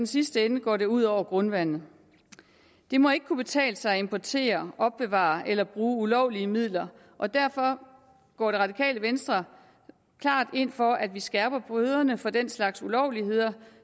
sidste ende går det ud over grundvandet det må ikke kunne betale sig at importere opbevare eller bruge ulovlige midler og derfor går det radikale venstre klart ind for at vi skærper bøderne for den slags ulovligheder